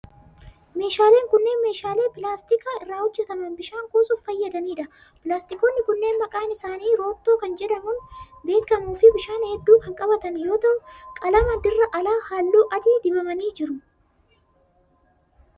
Meeshaaleen kunneen, meeshaalee pilaastika irraa hojjataman bishaan kuusuuf fayyadanii dha. Pilaastikoonni kunneen maqaan isaanii roottoo kan jedhamuun beekamuu fi bishaan hedduu kan qabatan yoo ta'u, qalama dirra alaa haalluu adii dibamanii jiru.